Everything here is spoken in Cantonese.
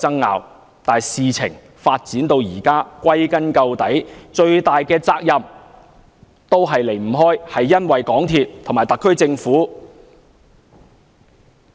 然而，事情發展至今，歸根結底，最大的責任都離不開港鐵公司及特區政府。